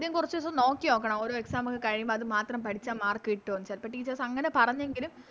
കുറച്ചിസം നോക്കിയൊക്കണം ഓരോ Exam ഒക്കെ കഴിയുമ്പോ അത് മാത്രം പഠിച്ച Mark കിട്ടോന്ന് ചെലപ്പോ Teachers അങ്ങനെ പറഞ്ഞെങ്കിലും